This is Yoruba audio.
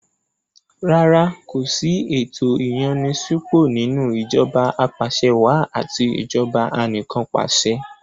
Rárá kò sí ẹ̀tò ìyànni-sípò nínú ìjọba apàṣẹwàá àti ìjọba anìkànpàṣẹ.